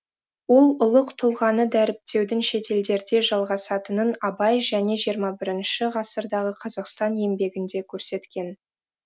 ол ұлық тұлғаны дәріптеудің шетелдерде жалғасатынын абай және жиырма бірінші ғасырдағы қазақстан еңбегінде көрсеткен